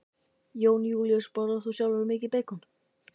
Jón Júlíus: Borðar þú sjálfur mikið beikon?